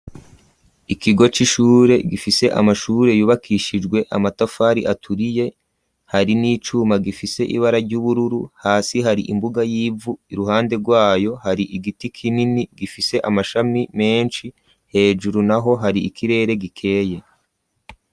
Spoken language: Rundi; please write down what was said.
Ikigo c'ishure gifise amashure yubakishijwe amatafari aturiye hari n'icuma gifise ibara ry'ubururu hasi hari imbuga y'ivu iruhande rwayo hari igiti kinini gifise amashami menshi hejuru naho hari ikirere gikeye.